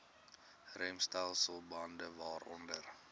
remstelsel bande waaronder